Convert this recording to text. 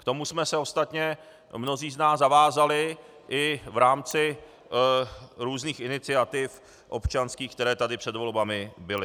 K tomu jsme se ostatně mnozí z nás zavázali i v rámci různých iniciativ občanských, které tady před volbami byly.